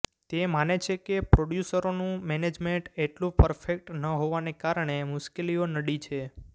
તે માને છે કે પ્રોડ્યુસરોનું મૅનેજમેન્ટ એટલું પર્ફેક્ટ ન હોવાને કારણે મુશ્કેલીઓ નડી છે